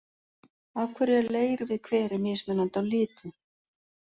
Af hverju er leir við hveri mismunandi á litinn?